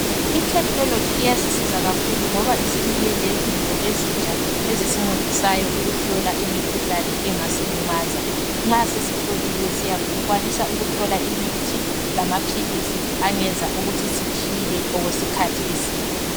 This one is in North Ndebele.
Ithenologi iyasiza kakhulu ngosibuye lezinto ezintsha ezisi ncedisayo ukuhlola umukhuhlane ongasilimaza nxa sesihloliwe sakwanisa ukuthola imithi lamaphilisi angayenza ukuthi siphile okwesikhathi eside